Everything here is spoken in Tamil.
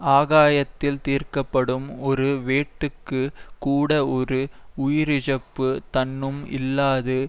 ஆகாயத்தில்தீர்க்கப்படும் ஒரு வேட்டுக்குக் கூடஒரு உயிரிழப்புத் தன்னும் இல்லாது